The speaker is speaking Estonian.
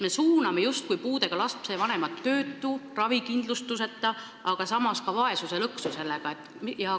Me suuname niimoodi puudega laste vanemad ravikindlustuseta oleku, töötuse, aga samas ka vaesuse lõksu.